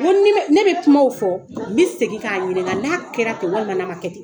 N ko ni ne bɛ kumaw fɔ, n bɛ segin k'a ɲininga n'a kɛra ten walima n'a ma kɛ ten.